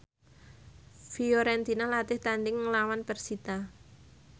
Fiorentina latih tandhing nglawan persita